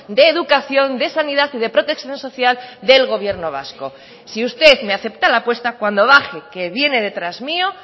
de educación de sanidad y de protección social del gobierno vasco si usted me acepta la apuesta cuando baje que viene detrás mío